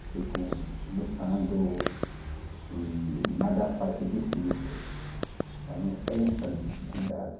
Tipo, lutando e nada faz ser difícil, para não pensa dificuldade.